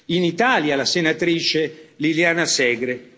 in Italia la senatrice Liliana Segre.